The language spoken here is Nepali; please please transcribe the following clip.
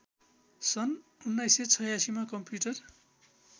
सन् १९८६मा कम्प्युटर